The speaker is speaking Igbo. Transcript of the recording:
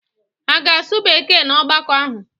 Ha ga-asụ Bekee n'ọgbakọ ahụ?